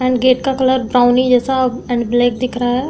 And gate का colour brownie जैसा and black दिख रहा है।